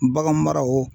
Bagan maraw